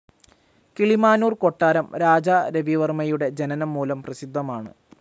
കിളിമാനൂർ കൊട്ടാരം രാജാരവിവർമ്മയുടെ ജനനം മൂലം പ്രസിദ്ധമാണ്.